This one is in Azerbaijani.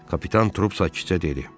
Kapitan Trup sakitcə dedi.